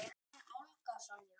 Þín, Olga Sonja.